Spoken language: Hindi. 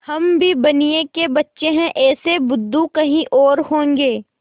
हम भी बनिये के बच्चे हैं ऐसे बुद्धू कहीं और होंगे